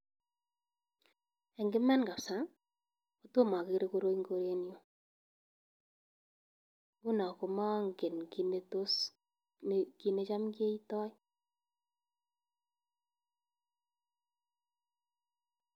En Iman kabisa kotom ogere koroi en korenyuun. Nguno komongen kit netam keitoo.